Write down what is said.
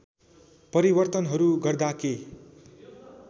परिवर्तनहरू गर्दा के